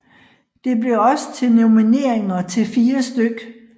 Det blev også til nomineringer til 4 stk